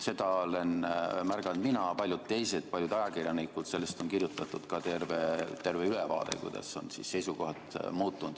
Seda olen märganud mina ja paljud teised, ka paljud ajakirjanikud, ning sellest on kirjutatud ka terve ülevaade, kuidas seisukohad on muutunud.